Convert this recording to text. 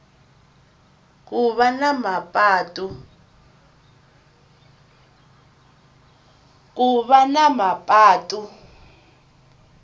ku va na mapatu